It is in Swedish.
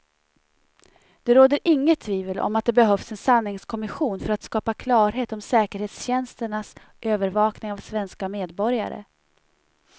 Det råder inget tvivel om att det behövs en sanningskommission för att skapa klarhet om säkerhetstjänsternas övervakning av svenska medborgare.